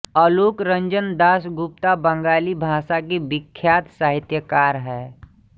आलोकरंजन दासगुप्ता बंगाली भाषा के विख्यात साहित्यकार हैं